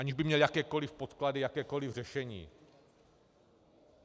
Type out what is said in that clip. Aniž by měl jakékoliv podklady, jakékoliv řešení.